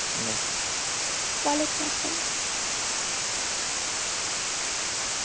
ওয়ালাইকুম আসসালাম